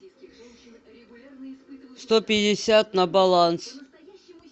сто пятьдесят на баланс